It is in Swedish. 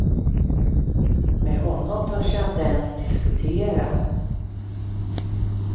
Med honom törs jag inte ens diskutera.